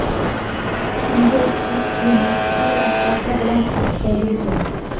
Unga o‘xshab kiyinib, qurol-aslaha bilan otda yurgan.